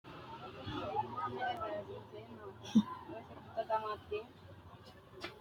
knuni maa leellishanno ? danano maati ? badheenni noori hiitto kuulaati ? mayi horo afirino ? kawiichi maa assinanni mineeti